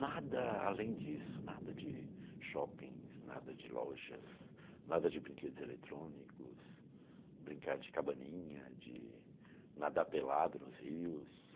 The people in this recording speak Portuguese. Nada além disso, nada de shoppings, nada de lojas, nada de brinquedos eletrônicos, brincar de cabaninha, de nadar pelado nos rios.